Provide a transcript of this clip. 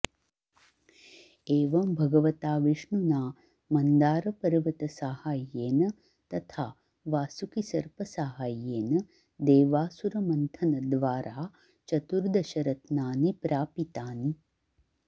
एवं भगवता विष्णुना मन्दारपर्वतसाहाय्येन तथा वासुकिसर्पसाहाय्येन देवासुरमन्थनद्वारा चतुर्दशरत्नानि प्रापितानि